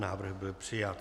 Návrh byl přijat.